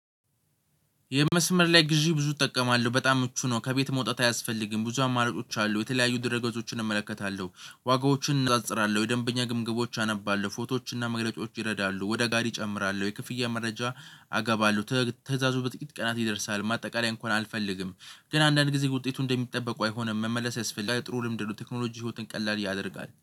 የመስመር ላይ ግዢ ብዙ እጠቀማለው በጣም ምቹ ነው ከቤት መውጣት አያስፈልግም ብዙ አማራጮች አሉት። የተለያዩ ድርገጾችን እመለከታለው ዋጋዎችን እነጻጽራለው የደንበኛ ግምገማዎች አነባለው ፎቶዎችና መግለጫዎች እረዳሉ። ወደ ጋሪ እጨምራለው የክፍያ መረጃ አገባለው ትእዛዙ በጥቂት ቀናት ይደርሳል። ማጠቃለያ እንኳን አልፈልግም። ግን አንዳንድ ጊዜ ውጤቱ እንደሚጠበቅ አይሆንም መመለስ ያስፈልግላል። ጥሩ ልምድ ነው። ቴክኖሎጂ ህይወትን ቀላል ያደርጋል